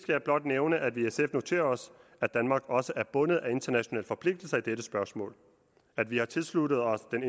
jeg blot nævne at vi i sf noterer os at danmark også er bundet af internationale forpligtelser i dette spørgsmål at vi har tilsluttet os den